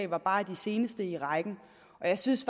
var bare de seneste i rækken og jeg synes